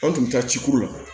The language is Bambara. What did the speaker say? An tun bɛ taa ci kuru la